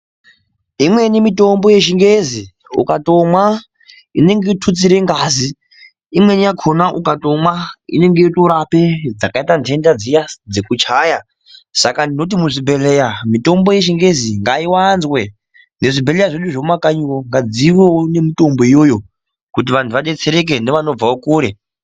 Imweni mitombo yechingezi, ukatomwa inenge yotutsire ngazi, imweni yakona ukatomwa, inonge yotorape dzakayita ndenda dziya dzekuchaya, saka ndinoti muzvibhedhleya mitombo yechingezi ngayiwanzwe, nezvibhedhlera ,zvedu zvemumakanyiwo ngadzivewo nemitombo iyoyo kuti vantu vadetsereke nevanobvawo kure .